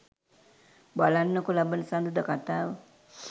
බලන්නකෝ ලබන සඳුදා කතාව.